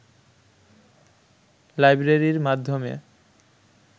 লাইব্রেরীর মাধ্যমে